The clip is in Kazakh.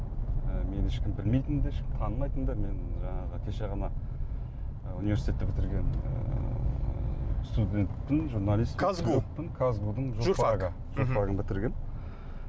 ы мені ешкім білмейтін де ешкім танымайтын да мен жаңағы кеше ғана ы университетті бітірген ыыы студентпін журналистпін казгу казгу дің журфагы журфагын бітіргенмін